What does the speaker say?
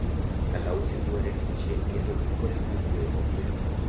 Kalausi yuare gi chien kendo ikore mar gweyo opira.